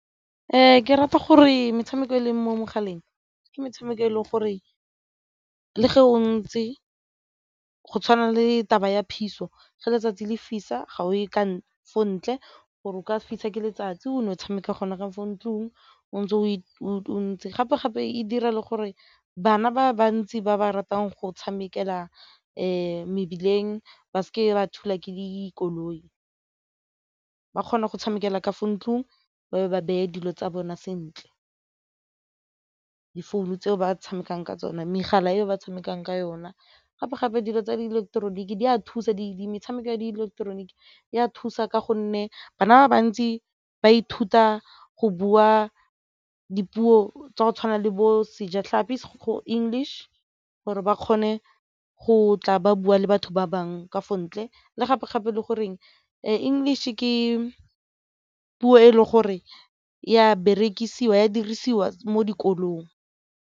Ke rata gore metshameko e leng mo mogaleng ke metshameko e leng gore le ge o ntsi go tshwana le taba ya phiso, ge letsatsi le fisa ga o ye ko ntle gore o ka fisa ke letsatsi o ne o tshameka gona ka fo ntlong o ntse o ntse. Gape-gape e dira le gore bana ba bantsi ba ba ratang go tshamekela mebileng ba seke ba thulwa ke dikoloi ba kgona go tshamekela ka fo ntlong ba be ba beye dilo tsa bona sentle difounu tseo ba tshamekang ka tsona megala eo ba tshamekang ka yona. Gape gape dilo tsa ileketeroniki di a thusa diedi metshameko ya ileketeroniki di a thusa ka gonne bana ba bantsi ba ithuta go bua dipuo tsa go tshwana le bo Sejatlhapi go English gore ba kgone go tla ba bua le batho ba bangwe ka fo ntle le gape gape e le goreng English ke puo e le gore ya berekisiwa a dirisiwa mo dikolong.